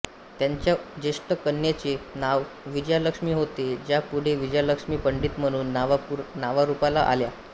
त्यांच्या ज्येष्ठ कन्येचे नाव विजयालक्ष्मी होते ज्या पुढे विजयालक्ष्मी पंडित म्हणून नावारूपाला आल्या